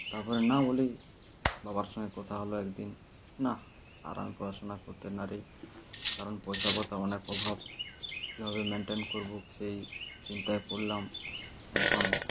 তারপর না বলি বাবার সঙ্গে কথা হলো একদিন নাঃ আর আমি পড়াশোনা করতে নারি BREATHE কারণ পয়সা পত্তের অনেক অভাব কি ভাবে maintain করবো সেই চিন্তায় পড়লাম এখন